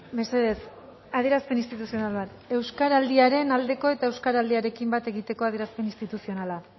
mesedez adierazpen instituzional bat euskaraldiaren aldeko eta euskaraldiarekin bat egiteko adierazpen instituzionala